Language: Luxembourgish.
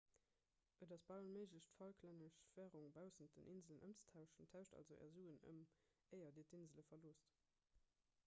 et ass bal onméiglech d'falklännesch wärung baussent den inselen ëmzetauschen tauscht also är suen ëm éier dir d'insele verloosst